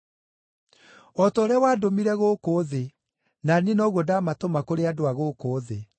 O ta ũrĩa wandũmire gũkũ thĩ, na niĩ noguo ndamatũma kũrĩ andũ a gũkũ thĩ.